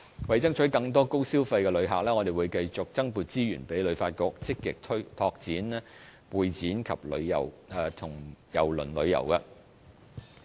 為爭取更多高消費的旅客，我們亦會增撥資源給旅發局，積極拓展會展及郵輪旅遊。